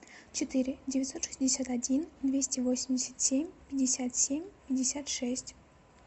четыре девятьсот шестьдесят один двести восемьдесят семь пятьдесят семь пятьдесят шесть